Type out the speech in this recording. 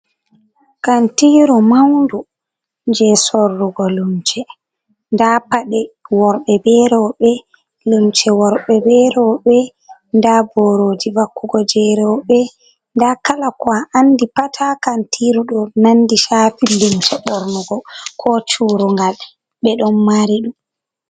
Kantiru maundu je sorrugo lumse nda paɗe worɓe vbe roɓe lumce worɓe be roɓe nda boroji vakku go je roɓe nda kala ko a andi pat ha kantiru ɗo nandi chafi lumse ɓornugo ko curungal ɓe ɗon mari ɗum.